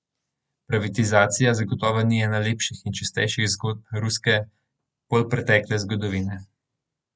Privatizacija zagotovo ni ena lepših in čistejših zgodb ruske polpretekle zgodovine.